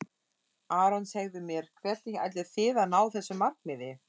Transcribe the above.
Aron segðu mér, hvernig ætlið þið að ná þessu markmiði?